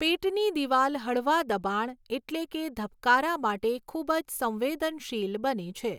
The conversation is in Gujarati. પેટની દિવાલ હળવા દબાણ, એટલે કે ધબકારા માટે ખૂબ જ સંવેદનશીલ બને છે.